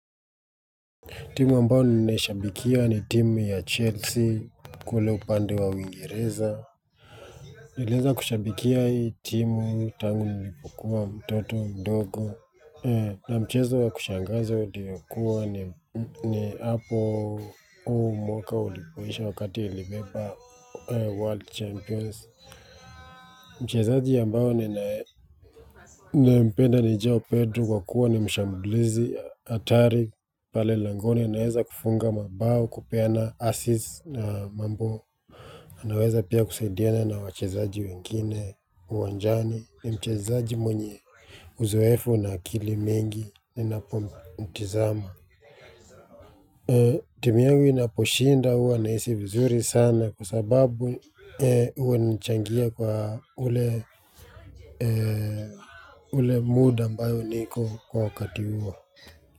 Timu ambao ninaishabikia ni timu ya Chelsea kule upande wa uingereza. Nilieza kushabikia hii timu tangu nilipokuwa mtoto mdogo. Na mchezo wa kushangaza ulikuwa ni hapo huu mwaka ulipoisha wakati ilibeba world champions. Mchazaji ambao ninayempenda ni Joao Pedro kwa kuwa ni mshambulizi hatari pale langoni anaweza kufunga mabao kupeana assists na mambo anaweza pia kusaidiana na wachezaji wengine uwanjani ni mchezaji mwenye uzoefu na akili mingi ninapomtizama. Timu yangu inaposhinda huwa nahisi vizuri sana kwa sababu huwa inachangia kwa ule mood ambayo niko kwa wakati huo.